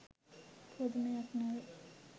පුදුමයක් නොවේ